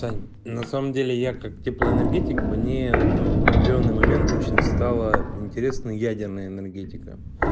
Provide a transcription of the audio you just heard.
таня на самом деле я как теплоэнергетик мне ээ в определённый момент очень стала интересна ядерная энергетика